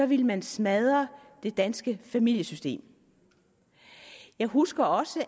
ville man smadre det danske familiesystem jeg husker også